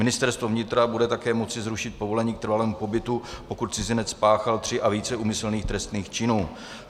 Ministerstvo vnitra bude také moci zrušit povolení k trvalému pobytu, pokud cizinec spáchal tři a více úmyslných trestných činů.